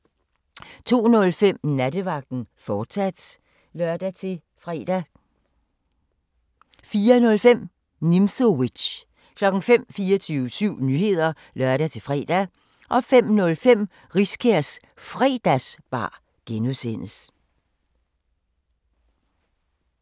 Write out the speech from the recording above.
02:05: Nattevagten, fortsat (lør-fre) 03:00: 24syv Nyheder (lør-fre) 03:05: Råbånd (lør-fre) 04:00: 24syv Nyheder (lør-fre) 04:05: Nimzowitsch 05:00: 24syv Nyheder (lør-fre) 05:05: Riskærs Fredagsbar (G)